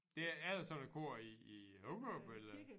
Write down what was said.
Det er der så et kor i i Hurup eller?